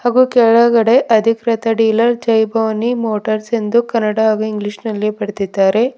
ಹಾಗೂ ಕೆಳಗಡೆ ಅಧಿಕೃತ ಡೀಲರ್ ಜೈ ಭವಾನಿ ಮೋಟರ್ಸ್ ಎಂದು ಕನ್ನಡ ಹಾಗೂ ಇಂಗ್ಲಿಷ್ ನಲ್ಲಿ ಬರೆದಿದ್ದಾರೆ.